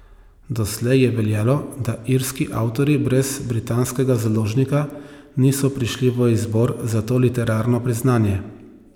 Doslej je veljalo, da irski avtorji brez britanskega založnika niso prišli v izbor za to literarno priznanje.